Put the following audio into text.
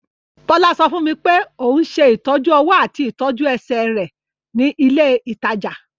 Bọ́lá sọ fún mi pé òun ṣe ìtọ́jú-ọwọ́ àti ìtọ́jú-ẹsẹ̀ rẹ̀ ní ilé-ìtajà.